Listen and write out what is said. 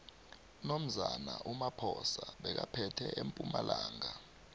unomzane umaphosa bekaphethe empumalanga